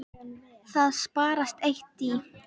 Það sparast eitt í.